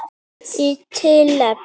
Í tilefni